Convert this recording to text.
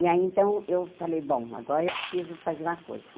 E aí, então, eu falei, bom, agora eu preciso fazer uma coisa.